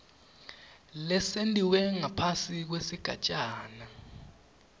lesentiwe ngaphasi kwesigatjana